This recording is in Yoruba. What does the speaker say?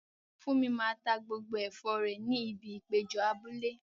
Funmi máa ta gbogbo ẹ̀fọ́ rẹ̀ ní ibi ìpéjọ abúlé.